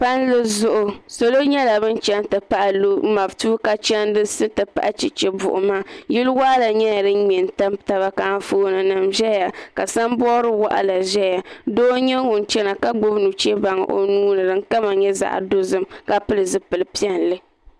Palli zuɣu salo nyɛla bin chɛni ti pahi matuuka chɛndisi ti pahi chɛchɛ buɣuma yili waɣala nyɛla din mɛ n tam taba ka anfooni nim ʒɛya ka sanbood waɣala ʒɛya doo n nyɛ ŋun chɛna ka gbubi nuchɛ baŋ o nuuni din kama nyɛ zaɣ dozim ka pili zipili piɛlli